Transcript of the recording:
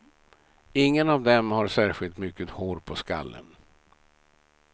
Ingen av dem har särskilt mycket hår på skallen.